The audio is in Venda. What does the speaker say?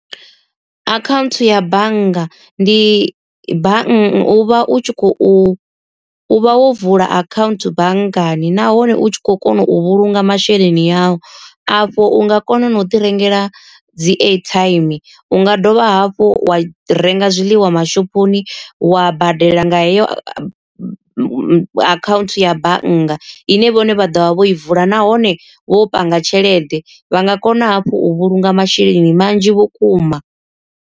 Akhaunthu ya bannga ndi bannga u vha u tshi khou u vha wo vula akhaunthu banngani nahone u tshi kho kona u vhulunga masheleni a u. Afho unga kona na u ḓi rengela dzi airtime u nga dovha hafhu wa renga zwiḽiwa mashoponi wa badela nga heyo akhaunthu ya bannga. Ine vhone vha ḓovha vho i vula nahone vho panga tshelede vha nga kona hafhu u vhulunga masheleni manzhi vhukuma.